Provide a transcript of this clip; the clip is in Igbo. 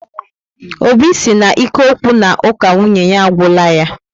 Óbị si na ike okwu na uka nwunye ya agwula yá